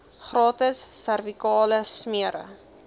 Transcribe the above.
gratis servikale smere